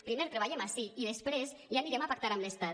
primer treballem ací i després ja anirem a pactar amb l’estat